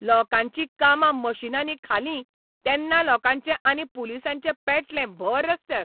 लोकांचीं कामां मिशिनांनी खालीं तेन्ना लोकांचें आनी पुलिसांचें पेटलें भऱ रस्त्यार.